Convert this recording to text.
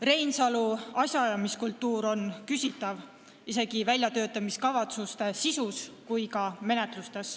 Reinsalu asjaajamiskultuur on küsitav ja see puudutab nii väljatöötamiskavatsuste sisu kui ka menetlusi.